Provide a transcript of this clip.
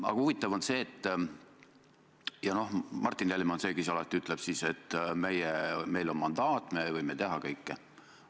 Aga Martin Helme ütleb siis alati, et meil on mandaat, me võime teha kõike.